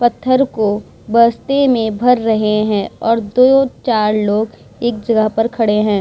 पत्थर को बस्ते में भर रहे हैं और दो-चार लोग एक जगह पर खड़े हैं।